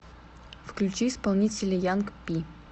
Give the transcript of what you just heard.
включи исполнителя янг пи